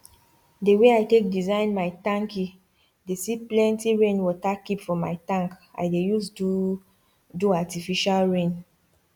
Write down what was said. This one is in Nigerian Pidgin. the way i take design my tanki dey see plenty rainwater keep for my tank i dey use do do artificial rain